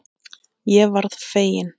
Ég varð fegin.